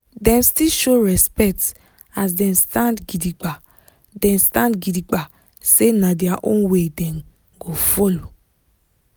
dem still show respect as dem stand gidigba dem stand gidigba say na their own way dem go follow.